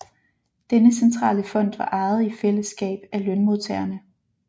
Denne centrale fond var ejet i fællesskab af lønmodtagerne